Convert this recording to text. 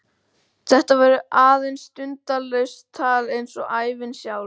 Þetta verður aðeins sundurlaust tal eins og ævin sjálf.